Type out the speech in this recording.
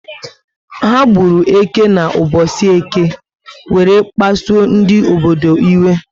Ha gburu eke na ubosi Eke were pasuo ndị obodo iwe